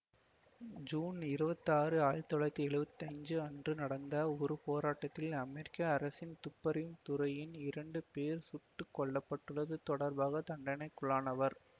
June இருவத்தாறு ஆயிரத்தி தொள்ளாயிரத்தி எழுவத்தி அஞ்சு அன்று நடந்த ஒரு போராட்டத்தில் அமெரிக்க அரசின் துப்பறியும் துறையின் இரண்டு பேர் சுட்டு கொல்ல பட்டுள்ளது தொடர்பாக தண்டனைக்குள்ளானவர்